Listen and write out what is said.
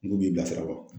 N ko b'i bilasira wa